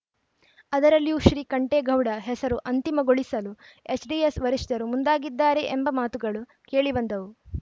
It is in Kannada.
ಅದರಲ್ಲಿಯೂ ಶ್ರೀಕಂಠೇಗೌಡ ಹೆಸರು ಅಂತಿಮಗೊಳಿಸಲು ಎಚ್ ಡಿಎಸ್‌ ವರಿಷ್ಠರು ಮುಂದಾಗಿದ್ದಾರೆ ಎಂಬ ಮಾತುಗಳು ಕೇಳಿಬಂದವು